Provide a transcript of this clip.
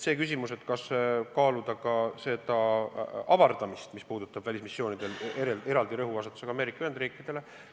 Te küsite, kas kaaluda välismissioonide avardamist eraldi rõhuasetusega Ameerika Ühendriikidele.